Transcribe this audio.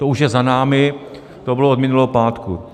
To už je za námi, to bylo od minulého pátku.